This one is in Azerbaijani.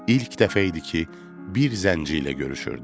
İlk dəfə idi ki, bir zənci ilə görüşürdüm.